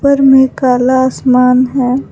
ऊपर मे काला आसमान है।